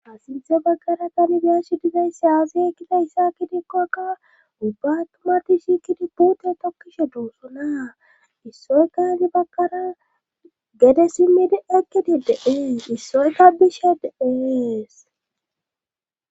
Ha sinthe baggara kanibiyashi dizayssi aazi ekkida yssaaki dikkokka ubba tumarti shiikidi puute tokkishe doossonaa issoyka gi baggara gede simmidi ekkidi deeen issoykka bishe deees.